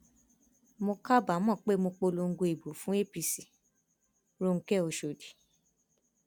mo kábàámọ pé mo polongo ìbò fún apc ronke ọṣọdì